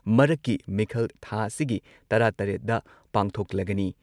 ꯃꯔꯛꯀꯤ ꯃꯤꯈꯜ ꯊꯥ ꯑꯁꯤꯒꯤ ꯇꯔꯥꯇꯔꯦꯠꯗ ꯄꯥꯡꯊꯣꯛꯂꯒꯅꯤ